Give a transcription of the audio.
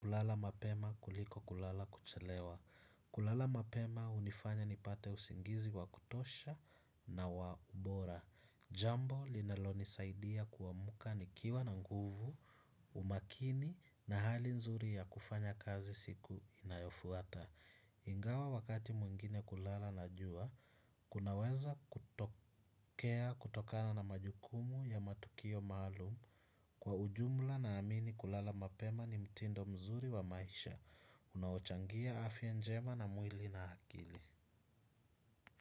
Kulala mapema kuliko kulala kuchelewa. Kulala mapemah unifanya nipate usingizi wa kutosha na wa ubora. Jambo linalonisaidia kuamka nikiwa na nguvu, umakini na hali nzuri ya kufanya kazi siku inayofuata. Ingawa wakati mwingine kulala na jua, kunaweza kutokea kutokana na majukumu ya matukio maalum. Kwa ujumla naamini kulala mapema ni mtindo mzuri wa maisha unaochangia afya njema na mwili na akili.